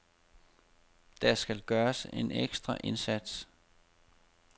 Der skal gøres en ekstra indsats.